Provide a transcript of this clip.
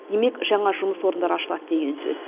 демек жаңа жұмыс орындары ашылады деген сөз